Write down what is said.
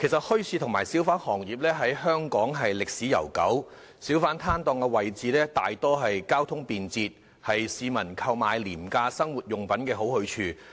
墟市和小販行業在香港歷史悠久，小販攤檔大多數在交通便捷的位置，是市民購買廉價生活用品的好去處。